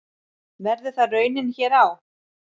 Verður það raunin hér á?